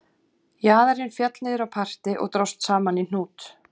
Jaðarinn féll niður á parti og dróst saman í hnút